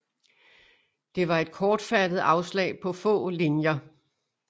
Det var et kortfattet afslag på få linjer